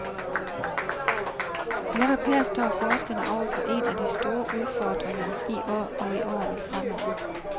Netop her står forskerne over for en af de store udfordringer i år og i årene fremover.